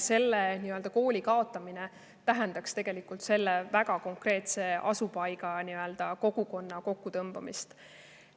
Selle kooli kaotamine tähendaks tegelikult selle väga konkreetse asupaiga kogukonna kokkutõmbamist.